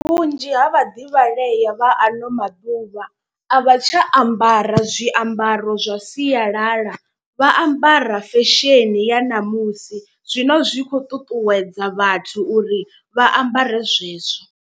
Vhunzhi ha vhaḓivhalea vha ano maḓuvha a vha tsha ambara zwiambaro zwa sialala. Vha ambara fesheni ya ṋamusi zwine zwi khou ṱuṱuwedza vhathu uri vha ambare zwezwo.